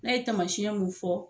N'a ye tamasiyɛn mun fɔ